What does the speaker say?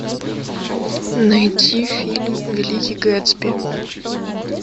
найти фильм великий гэтсби